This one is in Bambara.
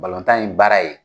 ye baara ye